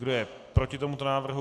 Kdo je proti tomuto návrhu?